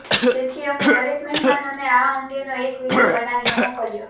તેથી અમે દરેક મહેમાનોને આ અંગેનો એક વીડિયો બનાવીને મોકલ્યો